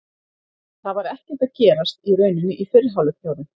Það var ekkert að gerast í rauninni í fyrri hálfleik hjá þeim.